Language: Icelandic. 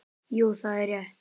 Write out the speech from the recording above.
Jú, það er rétt.